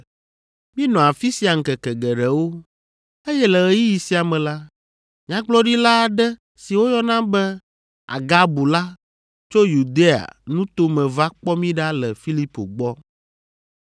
Míenɔ afi sia ŋkeke geɖewo, eye le ɣeyiɣi sia me la, nyagblɔɖila aɖe si woyɔna be Agabu la tso Yudea nuto me va kpɔ mí ɖa le Filipo gbɔ.